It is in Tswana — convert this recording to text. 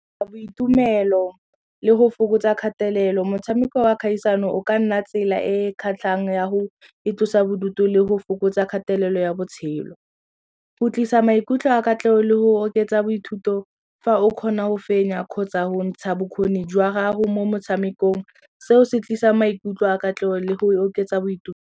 Boitumelo le go fokotsa kgatelelo motshameko wa kgaisano o ka nna tsela e kgatlhang ya go itlosa bodutu le go fokotsa kgatelelo ya botshelo. Go tlisa maikutlo a katlego le go oketsa fa o kgona go fenya kgotsa go ntsha bokgoni jwa gago mo motshamekong seo se tlisa maikutlo a katlego le go oketsa boitumelo.